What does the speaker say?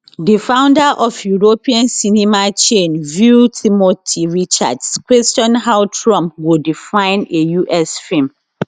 di founder of european cinema chain vue timothy richards question how trump go define a us film